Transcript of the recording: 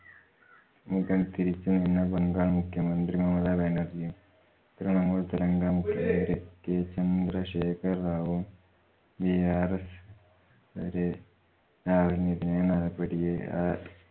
മുഖം തിരിച്ചുനിന്ന ബംഗാൾ മുഖ്യമന്ത്രി മമത ബാനർജിയും തൃണമൂൽ തെലങ്കാന മുഖ്യമന്ത്രി k ചന്ദ്രശേഖര റാവുവും brs രാഹുലിനെതിരെ നടപടിയെ